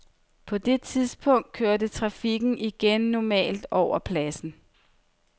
På det tidspunkt kørte trafikken igen normalt over pladsen.